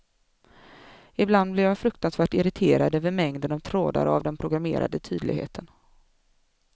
Ibland blev jag fruktansvärt irriterad över mängden av trådar och av den programmerade tydligheten.